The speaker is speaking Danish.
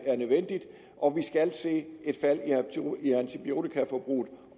er nødvendigt og vi skal se et fald i antibiotikaforbruget